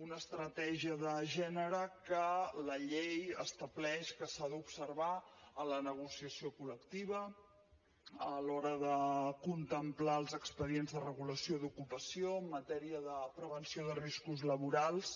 una estratègia de gènere que la llei estableix que s’ha d’observar en la negociació col·lectiva a l’hora de contemplar els expedients de regulació d’ocupació en matèria de prevenció de riscos laborals